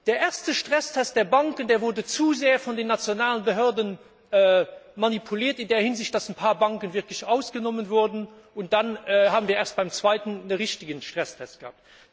Der erste Stresstest der Banken, der wurde zu sehr von den nationalen Behörden manipuliert in der Hinsicht, dass ein paar Banken ausgenommen wurden, und dann haben wir erst im zweiten Anlauf einen richtigen Stresstest gehabt.